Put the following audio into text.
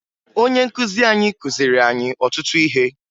Ọnye nkụzi anyị kụziri anyị ọtụtụ ihe